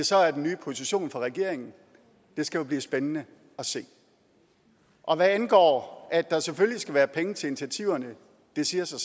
så er den nye position for regeringen det skal jo blive spændende at se hvad angår at der selvfølgelig skal være penge til initiativerne det siger sig